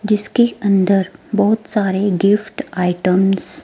जिसके अंदर बहोत सारे गिफ्ट आइटम्स